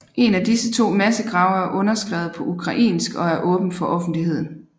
En af disse to massegrave er underskrevet på ukrainsk og er åben for offentligheden